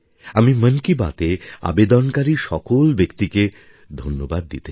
আমি মন কি বাতে অবদানকারী সকল ব্যক্তিকে ধন্যবাদ দিতে চাই